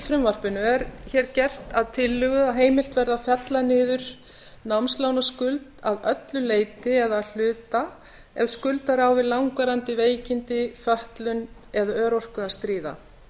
frumvarpinu er hér gert að tillögu að heimilt verði að fella niður námslánaskuld að öllu leyti eða að hluta ef skuldari á við langvarandi veikindi fötlun eða örorku að stríða